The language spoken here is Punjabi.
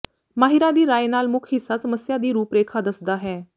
ਮਾਹਿਰਾਂ ਦੀ ਰਾਇ ਨਾਲ ਮੁੱਖ ਹਿੱਸਾ ਸਮੱਸਿਆ ਦੀ ਰੂਪਰੇਖਾ ਦੱਸਦਾ ਹੈ